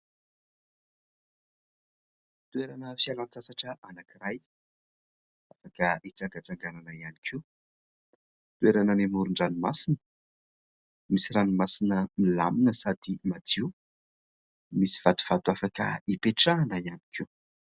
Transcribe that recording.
Toerana fialan-tsasatra anankiray ; afaka hitsangatsanganana ihany koa ; toerana eny amoron-dranomasina. Misy ranomasina milamina sady madio, misy vatovato afaka hipetrahana ihany koa.